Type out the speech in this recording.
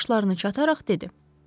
Qaşlarını çatararaq dedi: